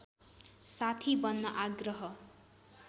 साथी बन्न आग्रह